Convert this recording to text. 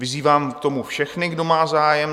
Vyzývám k tomu všechny, kdo má zájem.